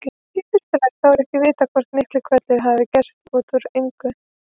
Í fyrsta lagi þá er ekki vitað hvort Miklihvellur hafi gerst út úr engu.